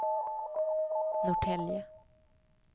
Norrtälje